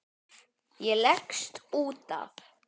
Ég leggst út af.